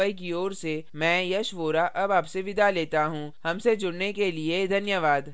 हमसे जुड़ने के लिए धन्यवाद